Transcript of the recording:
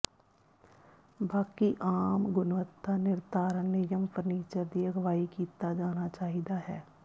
ਬਾਕੀ ਆਮ ਗੁਣਵੱਤਾ ਿਨਰਧਾਰਨ ਨਿਯਮ ਫਰਨੀਚਰ ਦੀ ਅਗਵਾਈ ਕੀਤਾ ਜਾਣਾ ਚਾਹੀਦਾ ਹੈ